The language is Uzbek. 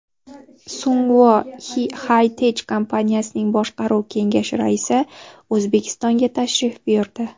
Sungwoo HiTech kompaniyasining boshqaruv kengashi raisi O‘zbekistonga tashrif buyurdi.